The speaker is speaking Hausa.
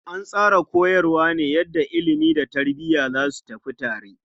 An tsara koyarwa ne ta yadda ilimi da tarbiya za su tafi tare.